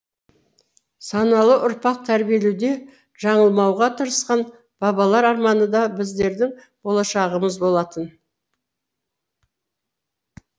саналы ұрпақ тәрбиелеуде жаңылмауға тырысқан бабалар арманы да біздердің болашағымыз болатын